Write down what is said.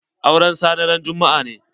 Auren Sani ran juma'a ne.